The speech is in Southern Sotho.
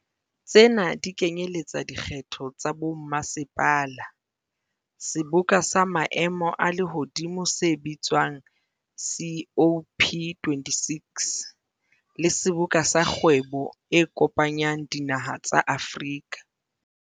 Tsena di kenyeletsa dikgetho tsa bommasepala, seboka sa maemo a lehodimo se bitswa ng COP26, le Seboka sa Kgwebo e Kopanyang Dinaha tsa Afrika.